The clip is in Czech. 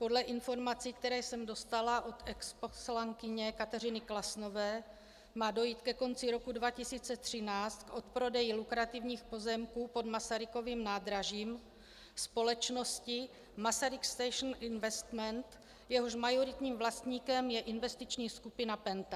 Podle informací, které jsem dostala od exposlankyně Kateřiny Klasnové, má dojít ke konci roku 2013 k odprodeji lukrativních pozemků pod Masarykovým nádražím společnosti Masaryk Station Investment, jehož majoritním vlastníkem je investiční skupina PENTA.